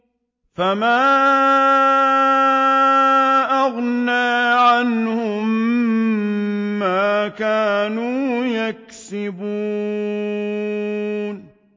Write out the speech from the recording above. فَمَا أَغْنَىٰ عَنْهُم مَّا كَانُوا يَكْسِبُونَ